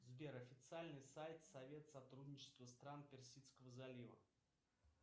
сбер официальный сайт совет сотрудничества стран персидского залива